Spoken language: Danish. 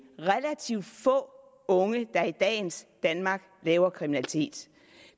relativt få unge der i dagens danmark laver kriminalitet